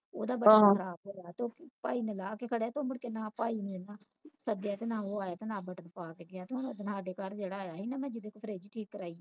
ਉਹਦਾ ਬਟਨ ਖ਼ਰਾਬ ਵਾ ਭਾਈ ਨੇ ਲਾ ਕੇ ਕਿਹੜਾ ਮੁੜਕੇ ਤੇ ਨਾ ਭਾਈ ਨੇ ਸੱਦਿਆ ਤੇ ਨਾ ਉਹ ਆਇਆ ਤੇ ਨਾ ਬਟਨ ਪੁਵਾਕੇ ਗਿਆ ਤੇ ਹੁਣ ਜਦੋ ਨਾਲਦੇ ਕੱਲ ਜਿਹੜਾ ਆਇਆ ਸੀ ਨਾ ਜਿਹਦੇ ਤੂੰ ਮੈਂ ਫ਼ਰਜ ਠੀਕ ਕਾਰਵਾਈ